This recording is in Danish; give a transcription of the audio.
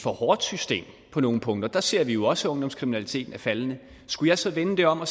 for hårdt system på nogle punkter der ser vi jo også at ungdomskriminaliteten er faldende skulle jeg så vende det om og